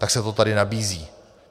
Tak se to tady nabízí.